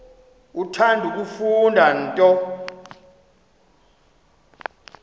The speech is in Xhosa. uthanda kufunda nto